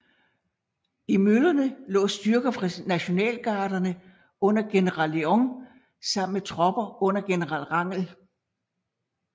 I møllerne lå styrker fra Nationalgarderne under general Leon sammen med tropper under general Rangel